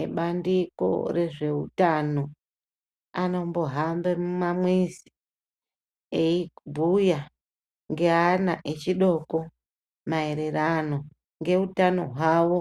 Ebandiko rezve utano anombo hambe muma mizi eyi bhuya nge ana echidoko maererano nge utano hwawo